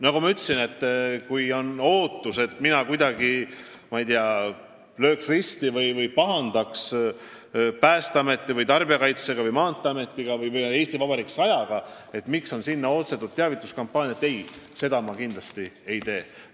Nagu ma ütlesin, kui teil on ootus, et ma löön kuidagi risti Päästeameti, Tarbijakaitseameti, Maanteeameti või "Eesti Vabariik 100" tiimi või pahandan nendega, miks nad on PBK-lt ostnud reaklaamiaega teavituskampaaniateks, siis seda ma kindlasti ei tee.